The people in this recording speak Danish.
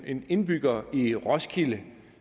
en indbygger i roskilde